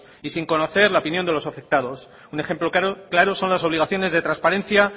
y sin conocer la opinión de los afectados un ejemplo claro son las obligaciones de transparencia